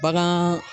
Bagan